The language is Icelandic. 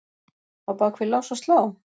Á bak við lás og slá?